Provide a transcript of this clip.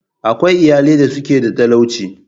Akwai iyalai da suke da talauci.